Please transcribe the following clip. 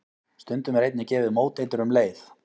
Stundum er einnig gefið móteitur um leið.